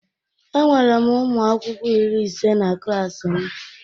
Enwere m ụmụ akwụkwọ iri ise na klaasị m.